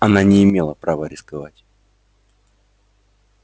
она не имела права рисковать